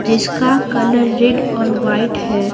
जिसका colour red और white है।